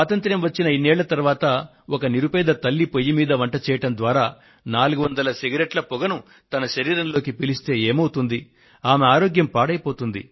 స్వాతంత్య్రం వచ్చిన ఇన్నేళ్ల తర్వాత ఒక నిరుపేద తల్లి పొయ్యి మీద వంట చేయడం ద్వారా 400 సిగరెట్ల పొగను తన శరీరంలోకి పీలిస్తే ఏమవుతుంది ఆమె ఆరోగ్యం పాడయిపోతుంది